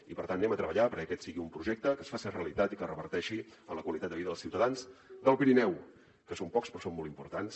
i per tant anem a treballar perquè aquest sigui un projecte que es faci realitat i que reverteixi en la qualitat de vida dels ciutadans del pirineu que són pocs però són molt importants